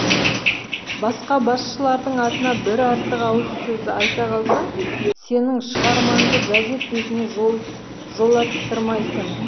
басқа басшылардың атына бір артық ауыз сөз айта қалсаң сенің шығармаңды газет бетіне жолаттырмайтын